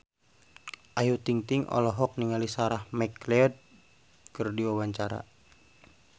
Ayu Ting-ting olohok ningali Sarah McLeod keur diwawancara